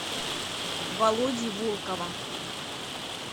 володи волкова